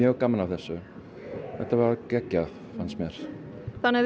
gaman af þessu þetta var geggjað þér